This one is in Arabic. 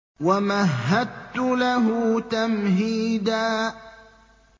وَمَهَّدتُّ لَهُ تَمْهِيدًا